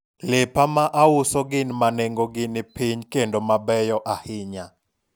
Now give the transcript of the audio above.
lepa ma auso gin ma nengo gi ni piny kendo gibeyo ahinya